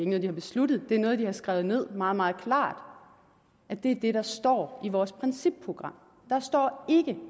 noget de har besluttet det er noget de har skrevet ned meget meget klart og det er det der står i vores principprogram der står ikke